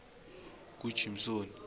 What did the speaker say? kujimsoni